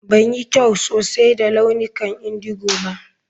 Ban yi kyau sosai da launukan indigo ba.